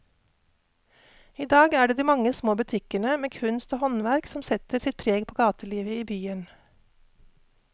I dag er det de mange små butikkene med kunst og håndverk som setter sitt preg på gatelivet i byen.